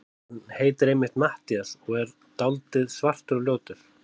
Hann heitir einmitt Matthías og er svona dáldið svartur og ljótur.